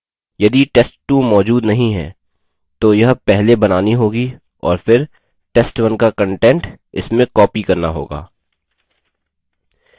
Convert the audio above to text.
यदि test2 मौजूद नहीं है तो यह पहले बनानी होगी और फिर test1 का content इसमें copied करना होगा